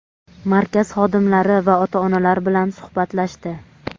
markaz xodimlari va ota-onalar bilan suhbatlashdi.